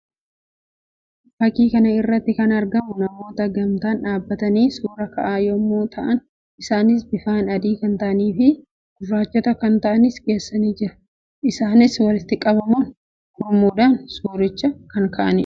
Fakkii kana irratti kan argamu namoota gamtaan dhaabbatanii suuraa ka'an yammuu ta'an; isaannis bifaan adii kan ta'anii fi gurraachota kan taa'anis keessa jiru. Isaannis walitti qabamuun gurmuun suuricha kan ka'anii dha.